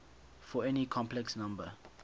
for any complex number